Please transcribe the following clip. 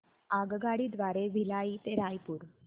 आगगाडी द्वारे भिलाई ते रायपुर